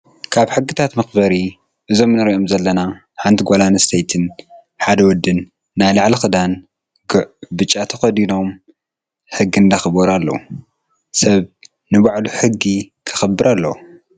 ካብ ሕግታት መክበሪ እዞም እንሪኦም ዘለና ሓንቲ ጓል ኣነስተይን ሓደ ወድን ናይ ላዕሊ ክዳን ጉፅ ብጫ ተከዲኖም ሕጊ እንዳክበሩ ኣለው። ሰብ ንባዕሉ ክብል ሕጊ ከክብር ኣለዎ።